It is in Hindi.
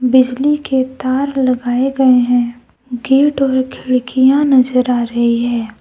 बिजली के तार लगाए गए है गेट और खिडकीया नजर आ रही है।